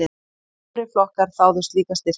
Fjórir flokkar þáðu slíka styrki.